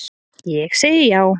Ég segi já